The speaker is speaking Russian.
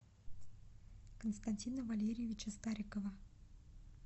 константина валерьевича старикова